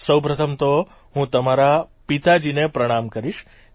સૌપ્રથમ તો હું તમારા પિતાજીને પ્રણામ કરીશ